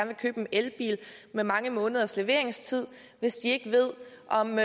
vil købe en elbil med mange måneders leveringstid hvis de ikke ved om